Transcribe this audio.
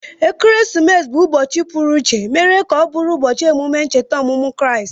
Ekeresimesi bụ ụbọchị pụru iché emere ka ọ bụrụ ubochi emume ncheta ọmụmụ Kraịst